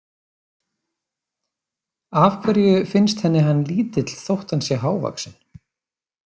Af hverju finnst henni hann lítill þótt hann sé hávaxinn?